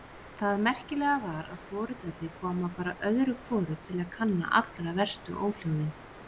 Það merkilega var að foreldrarnir komu bara öðru hvoru til kanna allra verstu óhljóðin.